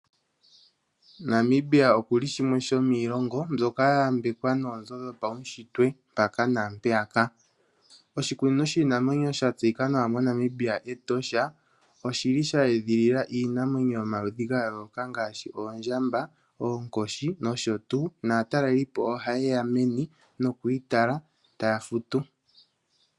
Namibia okuli shimwe shomiilongo mbyoka yayambekwa noonzo dhopawushitwe mpaka naampeyaka. Oshikunino shiinamwenyo moNamibia sha tseyika nawa Etosha oshili she edhilila iinamwenyo yomaludhi ga yooloka ngaashi oondjamba, oonkoshi nosho tuu. Naatalelipo ohaye ya meni nokuyi tala, taya futu.